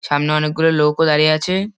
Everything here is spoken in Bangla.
সামনে অনেকগুলো লোকও দাঁড়িয়ে আছে-এ।